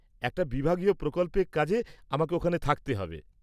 একটা বিভাগীয় প্রকল্পের কাজে আমাকে ওখানে থাকতে হবে।